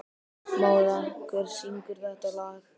Mára, hver syngur þetta lag?